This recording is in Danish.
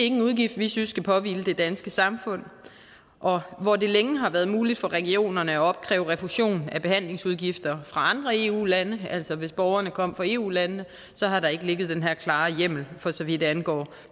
en udgift vi synes skal påhvile det danske samfund og hvor det længe har været muligt for regionerne at opkræve refusion af behandlingsudgifter fra andre eu lande altså hvis borgerne kom fra eu landene har der ikke ligget den her klare hjemmel for så vidt angår